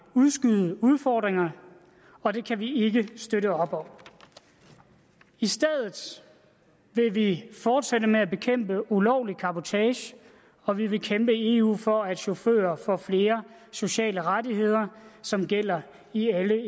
udskyde udfordringerne og det kan vi ikke støtte op om i stedet vil vi fortsætte med at bekæmpe ulovlig cabotage og vi vil kæmpe i eu for at chauffører får flere sociale rettigheder som gælder i alle